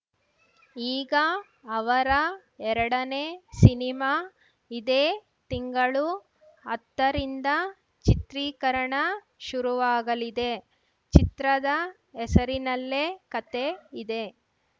ಈಗ ಅವರ ಎರಡನೇ ಸಿನಿಮಾ ಇದೇ ತಿಂಗಳು ಹತ್ತು ರಿಂದ ಚಿತ್ರೀಕರಣ ಶುರುವಾಗಲಿದೆ ಚಿತ್ರದ ಹೆಸರಿನಲ್ಲೇ ಕತೆ ಇದೆ